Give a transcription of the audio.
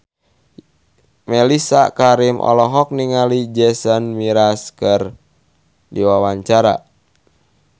Mellisa Karim olohok ningali Jason Mraz keur diwawancara